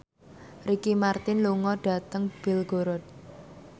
Ricky Martin lunga dhateng Belgorod